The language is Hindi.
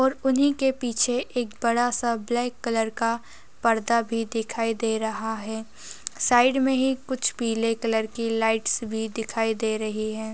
और उन्ही के पीछे एक बड़ा सा ब्लैक कलर का पर्दा भी दिखाई दे रहा है साइड मे ही कुछ पीले कलर की लाइटस भी दिखाई दे रही है।